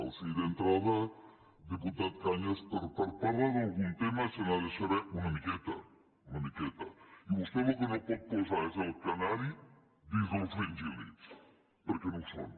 o sigui d’entrada diputat cañas per parlar d’algun tema se n’ha de saber una miqueta una miqueta i vostè el que no pot posar és el canari dins dels fringíllids perquè no ho són